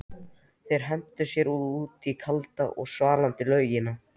Þeir hentu sér út í kalda og svalandi laugina.